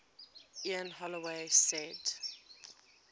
ian holloway said